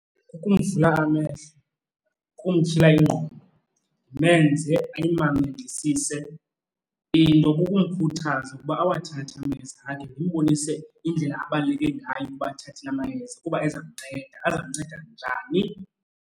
Kukumvula amehlo, kukumtyhila ingqondo ndimenze ayimamelisise into. Kukumkhuthaza ukuba awathathe amayeza akhe, ndimbonise indlela abaluleke ngayo uba athathe amayeza kuba ezamnceda. Azamnceda njani?